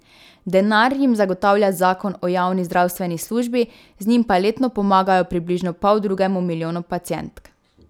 Denar jim zagotavlja zakon o javni zdravstveni službi, z njim pa letno pomagajo približno poldrugemu milijonu pacientk.